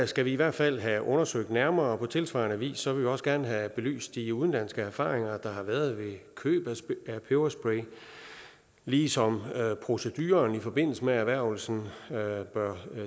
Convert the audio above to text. skal vi i hvert fald have undersøgt nærmere på tilsvarende vis vil vi også gerne have belyst de udenlandske erfaringer der har været med køb af peberspray ligesom proceduren i forbindelse med erhvervelsen bør